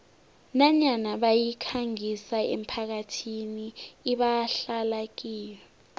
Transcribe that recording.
nanyana bayikhangisa emphakathini ebahlala kiyo